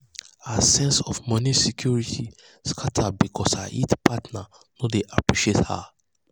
her sense of moni security scata because her partner no dey appreciate her.